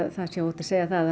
það sé óhætt að segja að